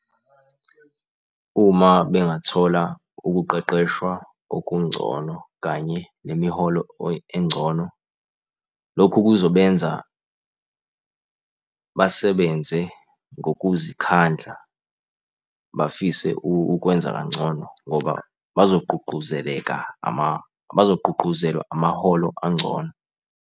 Uma bengathola ukuqeqeshwa okungcono kanye nemiholo engcono, lokhu kuzobenza basebenze ngokuzikhandla, bafise ukwenza kangcono ngoba bazogqugquzeleka bazogqugquzelwa amaholo angcono.